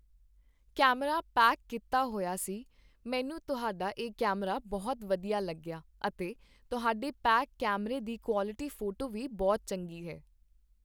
camera pack ਕੀਤਾ ਹੋਇਆ ਸੀ, ਮੈਨੂੰ ਤੁਹਾਡਾ ਇਹ ਕੈਮਰਾ ਬਹੁਤ ਵਧੀਆ ਲੱਗਿਆ ਅਤੇ ਤੁਹਾਡੇ ਪੈਕ ਕੈਮਰੇ ਦੀ ਕੁਆਲਟੀ ਫੋਟੋ ਵੀ ਬਹੁਤ ਚੰਗੀ ਹੈ